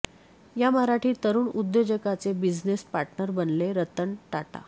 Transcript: या मराठी तरुण उद्योजकाचे बिझनेस पार्टनर बनले रतन टाटा